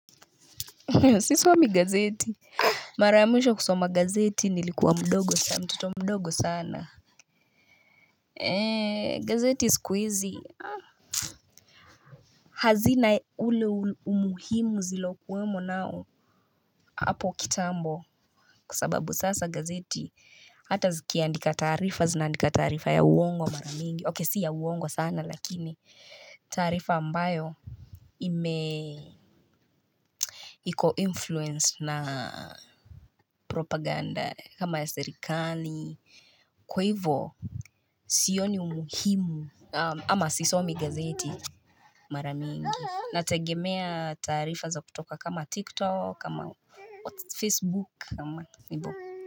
Sisomi gazeti mara ya mwisho kusoma gazeti nilikuwa mdogo sana mtoto mdogo sana. Gazeti siku hizi hazina ule umuhimu ziliyo kuwemo nao hapo kitambo. Kusababu sasa gazeti. Hata zikiandika taarifa zina andika taarifa ya uwongo mara mingi. Ok si ya uwongo sana lakini taarifa ambayo ime iko influence na propaganda kama ya sirikani. Kwa hivyo sioni umuhimu ama sisomi gazeti. Mara mingi, nategemea taarifa za kutoka kama TikTok, kama Facebook, kama.